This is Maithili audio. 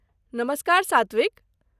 नमस्कार सात्विक!